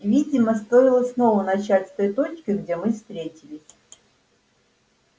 видимо стоило снова начать с той точки где мы встретились